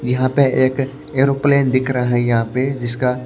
यहां पे एक एरोप्लेन दिख रहा है यहां पे जिसका--